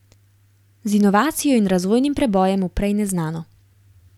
Z inovacijo in razvojnim prebojem v prej neznano.